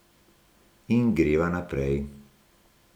In greva naprej.